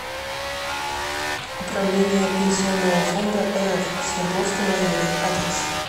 управление пенсионного фонда рф в свердловском районе адрес